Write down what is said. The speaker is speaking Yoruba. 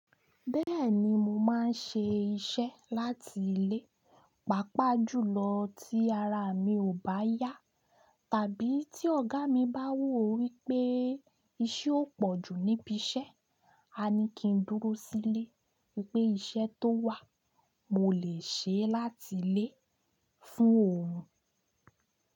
Bẹ́ẹ̀ni mo máa ń ṣe iṣẹ́ láti ilé, pàápàá jùlọ tí ara mi ò bá yá tàbí tí ọ̀gá mi bá wò wípé iṣẹ́ ó pọ̀jù níbi iṣẹ́. A ní kí n dúró sílé wípé iṣẹ́ tó wà mo lè ṣe é láti ilé fún òhun.